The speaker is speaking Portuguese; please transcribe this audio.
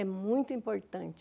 É muito importante.